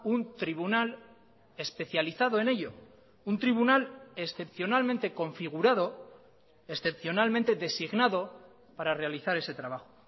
un tribunal especializado en ello un tribunal excepcionalmente configurado excepcionalmente designado para realizar ese trabajo